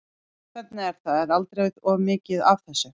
Hvernig er það, er aldrei of mikið af þessu?